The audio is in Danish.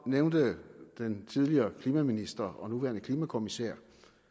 nævnte den tidligere klimaminister og nuværende klimakommissær